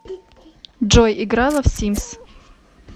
джой играла в симс